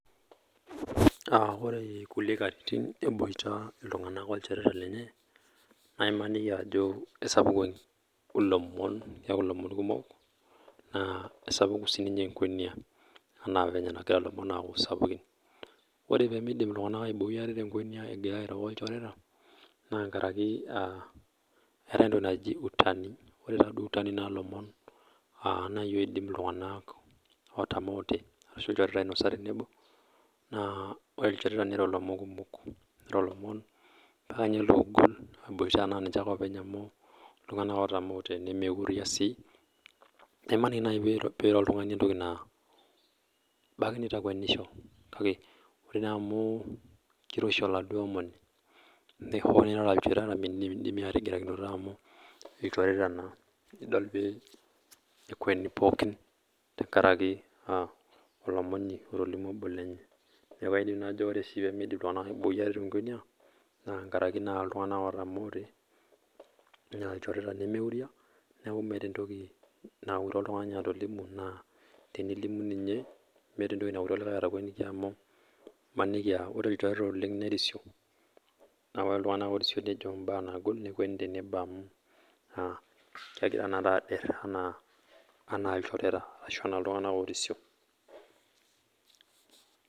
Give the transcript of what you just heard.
Aaah ore kulie katitin eboita kullie tunganak olchoreta lenye naa imaniki ajo eisapuk ilomon keaku lomon kumok naa esapuku sii ninye enkwenia anaa venye nagira llomon aaku sapukin ore pee meidim ltunganak aiboi enkwenia egirra airo olchoreta naa nkaraki eetae entoki najii utani ore taa duo utani naa ilomon aaa naaji odim ltunganak otamoote ashu lchoreta ainosa tenebo aah ore olchoreta nenya ilomon kumok mpaka ninye loogol eiboita naa ninche ake oopeny amu ltunganak otamoote nemeuria sii paa imaniki naaji pee eiro oltungani entoki naa ebaiki neitakuenisho kake ore naa amu keiroshi oladuo omoni ore hoo duo nirara olchoreta mindimidimi ake atigirakinoto amu olchoreta naa irara nidol pee ekueni pookin tenkaraki naa olomoni otolimuo obo lenye niaku aidim najo ore pee meidim ltunganak aiboi ate te nkuenia naa nkaraki naa ltunganak otamoote naa olchoreta lemeuria niaku meeta entoki naure oltungani atolimu naa tenelimu ninye naa meeta entoki naure olikae atakueniki amu imaniki aah ore olchoreta oleng nerisio naa ore ltunganak orisio nejo mbaa nagol nekueni tenebo amu aah kegira inakata adirr enaa olchoreta ashu enaa ltunganak orisio